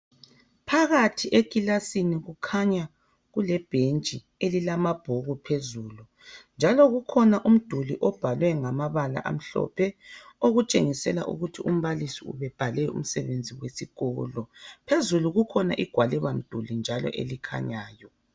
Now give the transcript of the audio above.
Phakathi ekilasini kukhanya kule bhentsi njalo elilamabhuku phezulu njalo kukhona umduli obhalwe ngamabala amhlophe okutshengisa ukuthi umbalisi ubebhale umsebenzi wesikolo phezulu njalo kukhona igwaliba mduli elikhanyayo